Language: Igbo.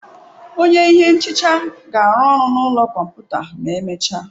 Onye ihe nhicha ga-arụ ọrụ n'ime ụlọ kọmputa ma emechaa.